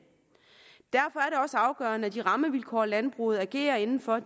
også afgørende at de rammevilkår landbruget agerer inden for